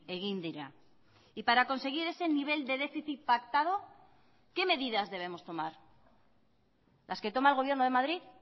egin dira y para conseguir ese nivel de déficit pactado qué medidas debemos tomar las que toma el gobierno de madrid